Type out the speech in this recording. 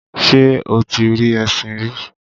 ṣé o ti rí ẹṣin rí?